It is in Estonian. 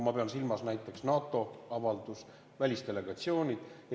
Ma pean silmas näiteks NATO-avaldust, välisdelegatsioone.